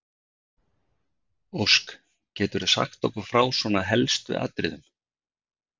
Ósk, geturðu sagt okkur frá svona helstu atriðum?